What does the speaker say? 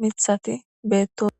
mithati beettos